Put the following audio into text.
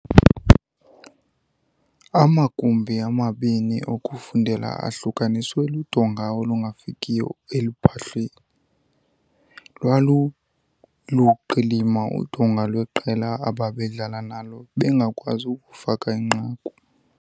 Amagumbi amabini okufundela ahlukaniswe ludonga olungafikiyo eluphahleni. Lwaluluqilima udonga lweqela ababedlala nalo bengakwazi ukufaka inqaku